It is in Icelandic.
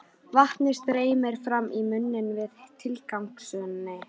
Vatnið streymir fram í munninn við tilhugsunina.